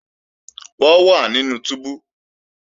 Wọ́n wà nínú túbú